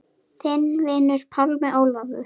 Þinn vinur, Pálmi Ólafur.